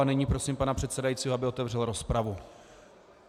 A nyní prosím pana předsedajícího, aby otevřel rozpravu.